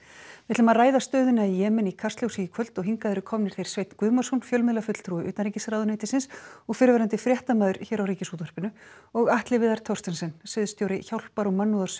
við ætlum að ræða stöðuna í Jemen í Kastljósi í kvöld og hingað eru komnir þeir Sveinn Guðmarsson fjölmiðlafulltrúi utanríkisráðuneytisins og fyrrverandi fréttamaður hér á Ríkisútvarpinu og Atli Viðar Thorstensen sviðsstjóri hjálpar og